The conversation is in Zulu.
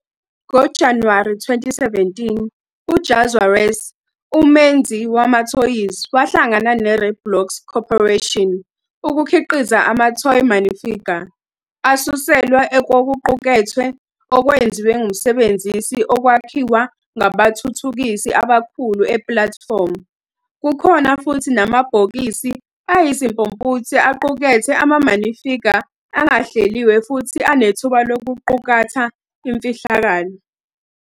NgoJanuwari 2017, uJazwares, umenzi wamathoyizi, wahlangana neRoblox Corporation ukukhiqiza ama-toy Minifigure asuselwa kokuqukethwe okwenziwe ngumsebenzisi okwakhiwa ngabathuthukisi abakhulu epulatifomu. Kukhona futhi namabhokisi ayizimpumputhe aqukethe ama-Minifigure angahleliwe futhi anethuba lokuqukatha imfihlakalo.